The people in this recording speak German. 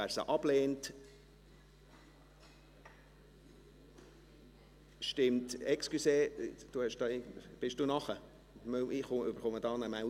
Wer sie ablehnt … Entschuldigung, ich kriege hier bei mir eine Meldung.